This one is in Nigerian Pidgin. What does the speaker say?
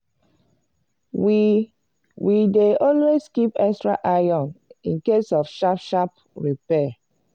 we we dey always keep extra iron incase of sharp sharp repair.